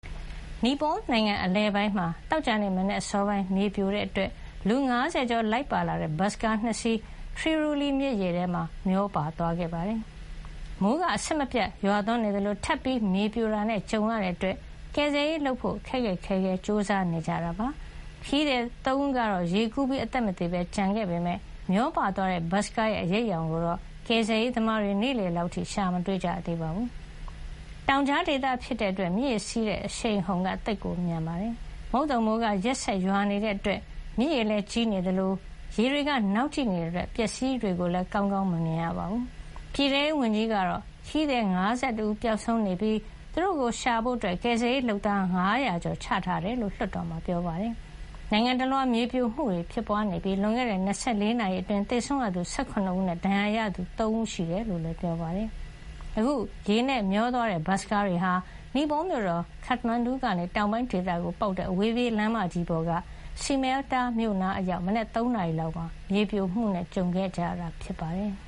နီပေါ(လ်)နိုင်ငံ အလယ်ပိုင်းမှာ သောကြာနေ့ မနက်အစောပိုင်း မြေပြိုမှုကြောင့် လူ ၅၀ ကျော်လိုက်ပါလာတဲ့ ဘတ်စကား ၂ စီး ထရီရှုလီ မြစ်ရေထဲ မျောပါသွားခဲ့ပါတယ်။ မိုးက အဆက်မပြတ် ရွာသွန်းနေသလို ထပ်ပြီးမြေပြိုတာနဲ့ ကြုံနေရတဲ့အတွက် ကယ်ဆယ်ရေးလုပ်ဖို့ ခက်ခက်ခဲခဲ ကြိုးစားနေရပါတယ်။ ခရီးသည် ၃ ဦးကတော့ ရေကူးပြီး အသက်မသေပဲ ကျန်ခဲ့ပေမယ့် မျောပါသွားတဲ့ ဘတ်စ်ကား ရဲ့ အရိပ်အယောင်ကိုတော့ ကယ်ဆယ်ရေးသမားတွေ နေ့လည်လောက်အထိ ရှာမတွေ့ကြသေးပါဘူး။ တောင်ကြား ဒေသဖြစ်တဲ့အတွက် မြစ်ရေစီးဆင်းတဲ့ အရှိန်အဟုန်က သိပ် မြန်ပါတယ်။ မုတ်သုန်မိုးက ရက်ဆက်ပြီး ရွာနေတဲ့အတွက် မြစ်ရေကလည်းကြီးနေသလို ရေတွေက နောက်ကျိနေတာကြောင့် အပျက်အစီးတွေကိုလည်း ကောင်းကောင်း မမြင်ရပါဘူး။ ပြည်ထဲရေးဝန်ကြီး Rabi Lamichhane ကတော့ ခရီးသည် ၅၁ ဦး ပျောက်ဆုံးနေပြီး သူတို့ကို ရှာဖွေဖို့ ကယ်ဆယ်ရေးလုပ်သား ၅၀၀ ကျော် ချထားတယ်လို့ လွှတ်တော်မှာ ပြောပါတယ်။ နိုင်ငံတလွှား မြေပြိုမှုတွေ ဖြစ်ပွါးနေပြီး လွန်ခဲ့တဲ့ ၂၄ နာရီအတွင်း သေဆုံးရသူ ၁၇ ဦးနဲ့ ဒဏ်ရာရသူက ၃ ဦး ရှိနေတယ်လို့လည်း ပြောပါတယ်။ အခု ရေနဲ့မျောသွားတဲ့ ဘတ်စ်ကားတွေဟာ နီပေါ(လ်)မြို့တော် Kathmandu ကနေ တောင်ပိုင်းဒေသကို ပေါက်တဲ့ အဝေးပြေးလမ်းမကြီးပေါ်က စီမယ်လ်တာ မြို့နားအရောက် မနက် ၃ နာရီလောက်မှာ မြေပြိုမှုနဲ့ ကြုံရတာ ဖြစ်ပါတယ်။